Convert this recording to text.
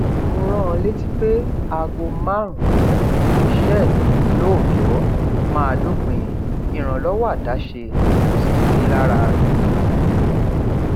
mo rán an létí pé aago márùnún ni iṣẹ mi lóòjọ máa dópin ìrànlọwọ àdáṣe kò sì sí lára rẹ